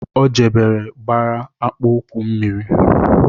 O jebere gbara akpụụkwụ mmiri